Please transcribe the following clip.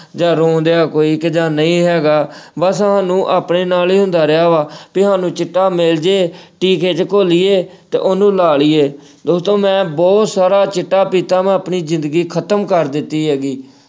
ਜਾਂ ਰੋ ਰਿਹਾ ਕੋਈ ਕਿ ਜਾਂ ਨਹੀਂ ਹੈਗਾ ਅਹ ਬੱਸ ਸਾਨੂੰ ਆਪਣੇ ਨਾਲ ਹੀ ਹੁੰਦਾ ਰਿਹਾ ਵਾ ਕਿ ਸਾਨੂੰ ਚਿੱਟਾ ਮਿਲ ਜੇ ਟੀਕੇ ਚ ਘੋਲੀਏ ਤੇ ਉਹਨੂੰ ਲਾ ਲਈਏ। ਦੋਸਤੋ ਮੈਂ ਬਹੁਤ ਸਾਰਾ ਚਿੱਟਾ ਪੀਤਾ ਵਾ, ਆਪਣੀ ਜ਼ਿੰਦਗੀ ਖ਼ਤਮ ਕਰ ਦਿੱਤੀ ਹੈਗੀ।